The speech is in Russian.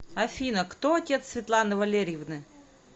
афина кто отец светланы валерьевны